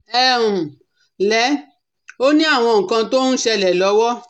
Ẹ um ǹlẹ́, ó ní àwọn nǹkan tó ń ṣẹlẹ̀ lọ́wọ́